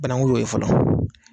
Banaku de o ye fɔlɔ